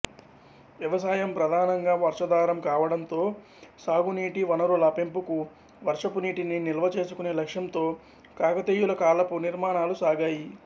వ్యవసాయం ప్రధానంగా వర్షాధారం కావడంతో సాగునీటి వనరుల పెంపుకు వర్షపునీటిని నిల్వచేసుకునే లక్ష్యంతో కాకతీయుల కాలపు నిర్మాణాలు సాగాయి